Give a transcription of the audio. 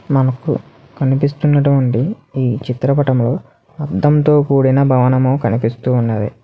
మనకు కనిపిస్తున్నటువంటి ఈ చిత్రపటంలో అద్దంతో కూడిన భవనము కనిపిస్తూ ఉన్నది.